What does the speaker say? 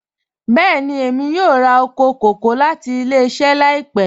Bẹẹ̀ni, emi yọ̀ọ̀ rà oko kọkọ̀ lati ilẹ̀-iṣẹ laipẹ